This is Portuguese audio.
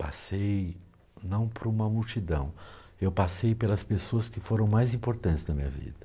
Passei não por uma multidão, eu passei pelas pessoas que foram mais importantes na minha vida.